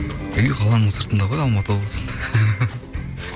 үй қаланың сыртында ғой алматы облысында